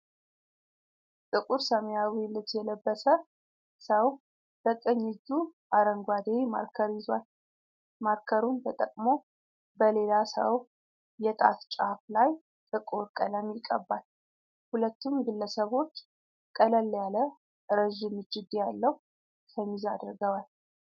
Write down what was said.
ጥቁር ሰማያዊ ልብስ የለበሰ ሰው በቀኝ እጁ አረንጓዴ ማርከር ይዟል። ማርከሩን ተጠቅሞ በሌላ ሰው የጣት ጫፍ ላይ ጥቁር ቀለም ይቀባል። ሁለቱም ግለሰቦች ቀለል ያለ ረዥም እጅጌ ያለው ሸሚዝ አድርገዋል።